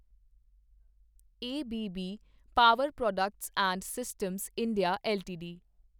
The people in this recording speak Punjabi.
A B B power products and systems India LTD